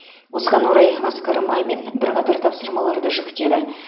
осыған орай асқар мамин бірқатар тапсырмаларды жүктеді